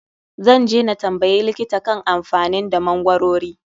Zan je na tambayi likita kan amfanin da magwarori.